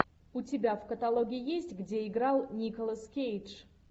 у тебя в каталоге есть где играл николас кейдж